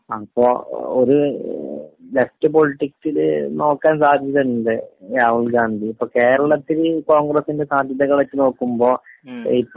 അപ്പൊ ഒരു ലെഫ്റ്റ് പൊളിറ്റിക്‌സിൽ നോക്കാൻ സാധ്യതയുണ്ട് രാഹുൽഗാന്ധി. ഇപ്പൊ കേരളത്തില് കോൺഗ്രസിന്റെ സാധ്യതകളെ വച്ച് നോക്കുമ്പോ